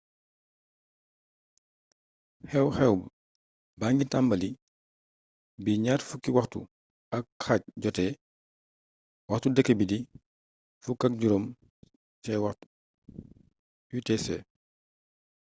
xew-xew baa ngi tàmbali bi 20h30 jotee. waxtu dêkk bi di 15.00 utc